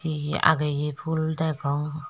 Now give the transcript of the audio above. e ye ageye pul degong.